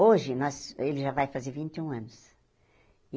Hoje, nós ele já vai fazer vinte e um anos.